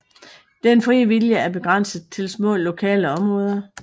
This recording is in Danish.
Den frie vilje er begrænset til små lokale områder